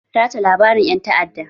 Tace labarin ƴan ta'adda!